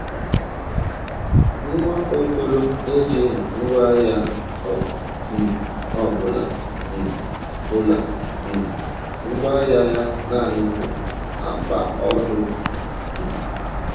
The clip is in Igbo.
Nwaokolo ejighi ngwa agha ọ um bụla, um bụla, um ngwá agha ya naanị bụ akpa ọdụ. um